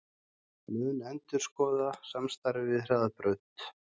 Mun endurskoða samstarfið við Hraðbraut